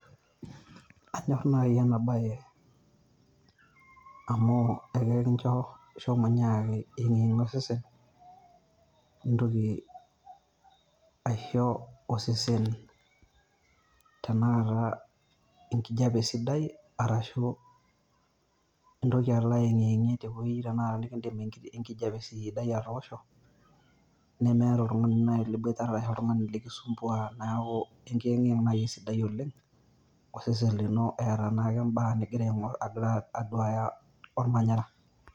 Anyorr naaji ena baye amu akekincho shomo nyiaki eyeng'iyeng'ie osesen nintoki aisho osesen tenakata engijiape sidai arashu Intoki alo ayeng'iyeng'ie naaji te wueji nikidim enkijiape sidai atoosho nemeeta oltung'ani laaji liboitare arashu oltung'ani likisumbua neeku eng'iyeng' naii esidai oleng' osesen lino eeta naake imbaa nigira aing'orr aduya orma ormanyara.